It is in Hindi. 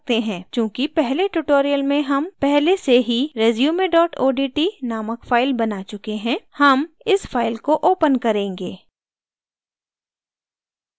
चूँकि पिछले tutorial में हम पहले से ही resume odt नामक file बना चुके हैं हम इस file को open करेंगे